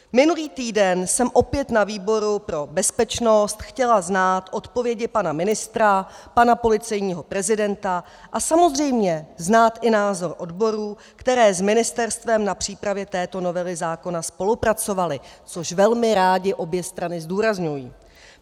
Minulý týden jsem opět na výboru pro bezpečnost chtěla znát odpovědi pana ministra, pana policejního prezidenta a samozřejmě znát i názor odborů, které s ministerstvem na přípravě této novely zákona spolupracovaly, což velmi rády obě strany zdůrazňují.